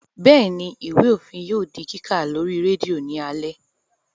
Bẹ́ẹ̀ni, Ìwé òfin yóò di kíkà lórí rédíò ní alé